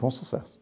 Foi um sucesso.